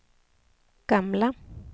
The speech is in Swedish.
gamla